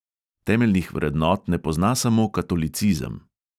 Temeljnih vrednot ne pozna samo katolicizem.